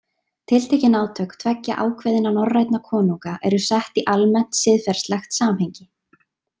Tiltekin átök tveggja ákveðinna norrænna konunga eru sett í almennt, siðferðislegt samhengi.